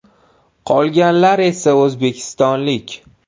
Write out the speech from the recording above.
Qolganlar esa o‘zbekistonlik.